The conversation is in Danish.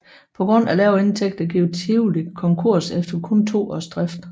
På grund af lave indtægter gik Tivoli konkurs efter kun to års drift